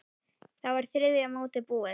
Þá er þriðja mótið búið.